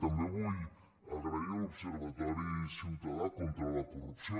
i també vull agrair a l’observatori ciutadà contra la corrupció